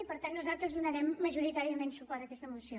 i per tant nosaltres donarem majoritàriament suport a aquesta moció